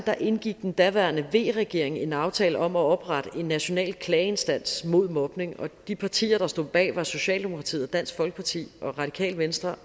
indgik den daværende v regering en aftale om at oprette en national klageinstans mod mobning og de partier der stod bag var socialdemokratiet dansk folkeparti radikale venstre